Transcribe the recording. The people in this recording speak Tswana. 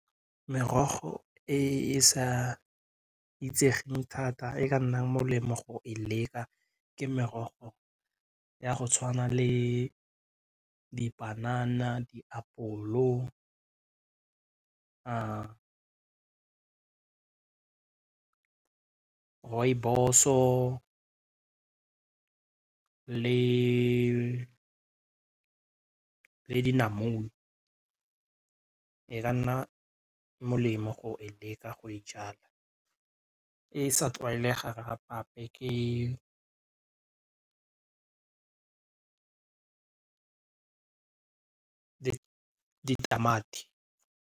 Merogo e e sa itsegeng thata e ka nnang molemo go e leka ke merogo ya go tshwana le dipanana, diapolo, rooibos-o le dinamune e ka nna molemo go e leka go e jala e sa tlwaelegang gape-gape ke ditamati.